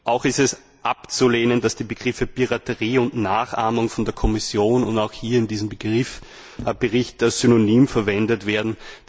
Auch ist es abzulehnen, dass die Begriffe Piraterie und Nachahmung von der Kommission und auch hier in diesem Bericht als Synonyme verwendet werden.